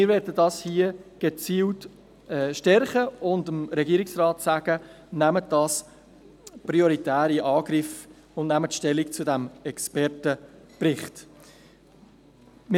Wir möchten dies gezielt stärken und dem Regierungsrat sagen, er solle diese Sache prioritär in Angriff nehmen und zu diesem Expertenbericht Stellung nehmen.